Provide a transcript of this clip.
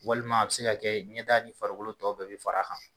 Walima a bɛ se ka kɛ ɲɛda ni farikolo tɔw bɛɛ bi far'a kan